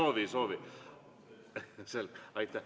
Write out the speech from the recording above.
Kui ei soovi, siis ei soovi.